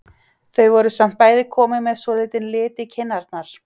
Þau voru samt bæði komin með svolítinn lit í kinnarnar.